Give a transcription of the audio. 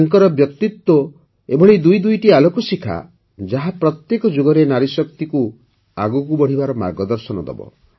ତାଙ୍କର ବ୍ୟକ୍ତିତ୍ୱ ଏଭଳି ଦୁଇ ଦୁଇଟି ଆଲୋକଶିଖା ଯାହା ପ୍ରତ୍ୟେକ ଯୁଗରେ ନାରୀଶକ୍ତିକୁ ଆଗକୁ ବଢ଼ିବାର ମାର୍ଗଦର୍ଶନ ଦେବ